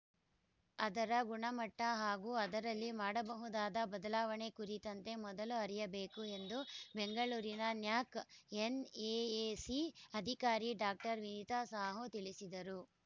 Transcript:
ಅದರ ಗುಣಮಟ್ಟಹಾಗೂ ಅದರಲ್ಲಿ ಮಾಡಬಹುದಾದ ಬದಲಾವಣೆ ಕುರಿತಂತೆ ಮೊದಲು ಅರಿಯಬೇಕು ಎಂದು ಬೆಂಗಳೂರಿನ ನ್ಯಾಕ್‌ ಎನ್‌ಎಎಸಿ ಅಧಿಕಾರಿ ಡಾಕ್ಟರ್ ವೇಧಾ ಸಾಹು ತಿಳಿಸಿದರು